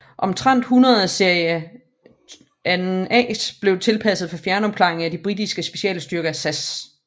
Omtrent 100 Series IIA blev tilpasset for fjernopklaring af den britiske specialstyrke SAS